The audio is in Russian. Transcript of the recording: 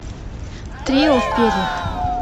трио в перьях